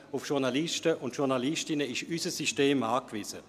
Auf Journalistinnen und Journalisten ist unser System angewiesen.